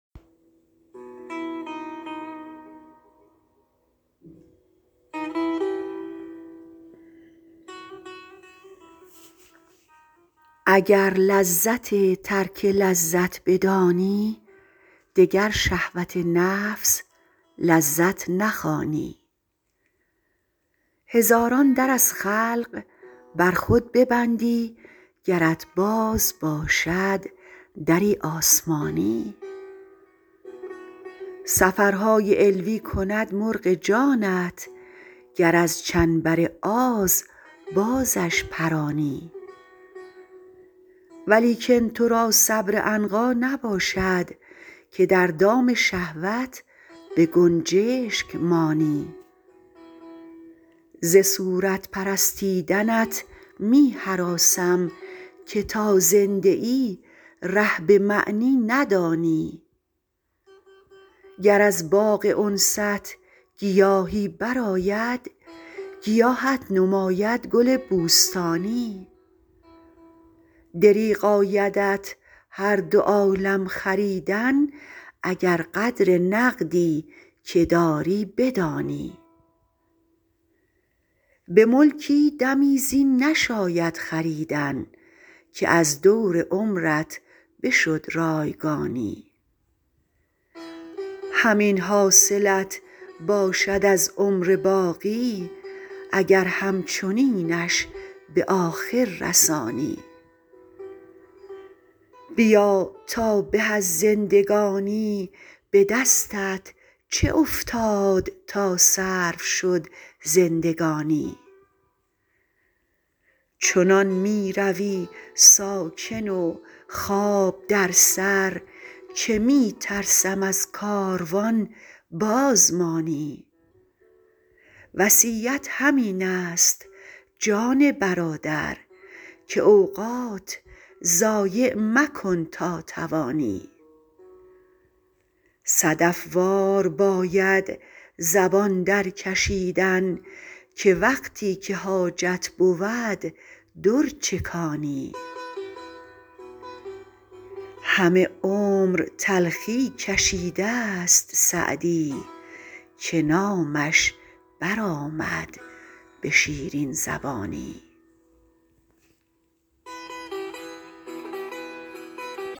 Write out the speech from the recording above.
اگر لذت ترک لذت بدانی دگر شهوت نفس لذت نخوانی هزاران در از خلق بر خود ببندی گرت باز باشد دری آسمانی سفرهای علوی کند مرغ جانت گر از چنبر آز بازش پرانی ولیکن تو را صبر عنقا نباشد که در دام شهوت به گنجشک مانی ز صورت پرستیدنت می هراسم که تا زنده ای ره به معنی ندانی گر از باغ انست گیاهی برآید گیاهت نماید گل بوستانی دریغ آیدت هر دو عالم خریدن اگر قدر نقدی که داری بدانی به ملکی دمی زین نشاید خریدن که از دور عمرت بشد رایگانی همین حاصلت باشد از عمر باقی اگر همچنینش به آخر رسانی بیا تا به از زندگانی به دستت چه افتاد تا صرف شد زندگانی چنان می روی ساکن و خواب در سر که می ترسم از کاروان باز مانی وصیت همین است جان برادر که اوقات ضایع مکن تا توانی صدف وار باید زبان درکشیدن که وقتی که حاجت بود در چکانی همه عمر تلخی کشیده ست سعدی که نامش برآمد به شیرین زبانی